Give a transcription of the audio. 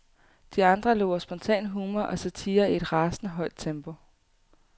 De andre lover spontan humor og satire i et rasende højt tempo.